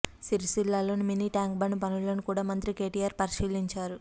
సిరిసిల్లలో mini tank bund పనులను కూడా మంత్రి కేటీఆర్ పరిశీలించారు